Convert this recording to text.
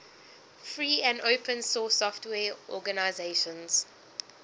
free and open source software organizations